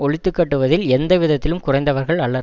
ஒழித்துக்கட்டுவதில் எந்தவிதத்திலும் குறைந்தவர்கள் அலர்